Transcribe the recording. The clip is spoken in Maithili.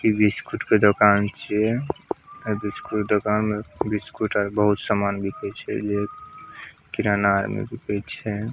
इ बिस्कुट के दुकान छै इ बिस्कुट के दुकान मे बिस्कुट आर बहुत सामान बीके छै किराना एमे बिके छै।